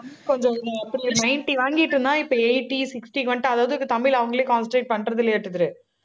ninety வாங்கிட்டிருந்தான், இப்ப eighty, sixty க்கு வந்துட்டான் அதாவது இப்ப தமிழ் அவங்களே concentrate